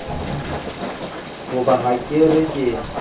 hoba ha ke re ke